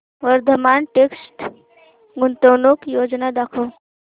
Vardhman text गुंतवणूक योजना दाखव